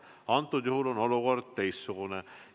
Praegusel juhul on olukord teistsugune.